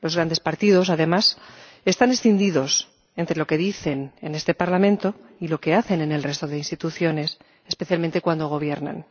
Los grandes partidos, además, están escindidos entre lo que dicen en este Parlamento y lo que hacen en el resto de instituciones, especialmente cuando gobiernan.